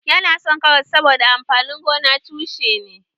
Yana son karas saboda amfanin gonan tushe ne